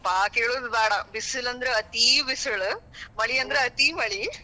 ಯಪ್ಪಾ ಕೇಳೋದ ಬ್ಯಾಡ. ಬಿಸಲಂದ್ರ ಅತೀ ಬಿಸಿಳ ಮಳಿ ಅಂದ್ರ ಅತೀ ಮಳಿ,